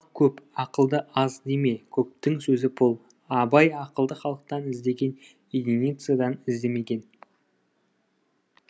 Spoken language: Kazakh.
көп ақылды аз деме көптің сөзі пұл абай ақылды халықтан іздеген единицадан іздемеген